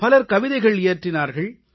பலர் கவிதைகள் இயற்றினார்கள்